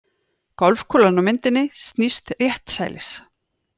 Golfkúlan á myndinni snýst réttsælis.